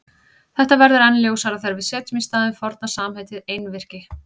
Þetta verður enn ljósara þegar við setjum í staðinn forna samheitið einvirki.